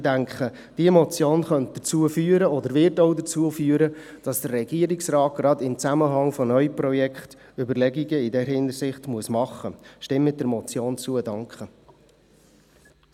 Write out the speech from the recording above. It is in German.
Ich denke, diese Motion könnte dazu führen und wird auch dazu führen, dass sich der Regierungsrat gerade auch in Zusammenhang mit neuen Projekten Überlegungen in dieser Hinsicht machen muss.